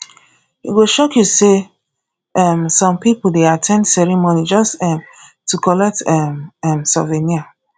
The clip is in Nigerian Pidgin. e go shock you say um some people dey at ten d ceremony just um to collect um um souvenir